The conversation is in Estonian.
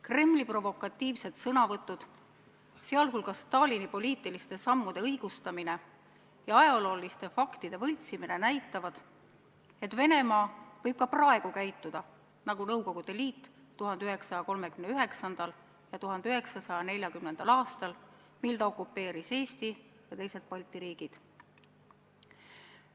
Kremli provokatiivsed sõnavõtud, sh Stalini poliitiliste sammude õigustamine ja ajaloofaktide võltsimine, näitavad, et Venemaa võib ka praegu käituda nagu Nõukogude Liit 1939. ja 1940. aastal, mil ta okupeeris Eesti ja teised Balti riigid.